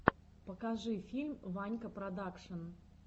покажи фильм ванька продакшн